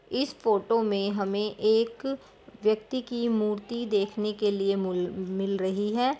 इस फोटो मे हमे एक व्यक्ति की मूर्ति देखने के लिए मूल मिल रही है।